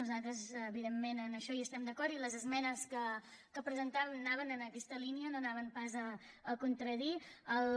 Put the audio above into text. nosaltres evidentment en això hi estem d’acord i les esmenes que presentàvem anaven en aquesta línia no anaven pas a contradirho